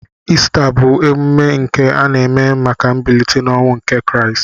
Ista bu emume nke ana eme maka mbilite n'ọnwụ nke kraist.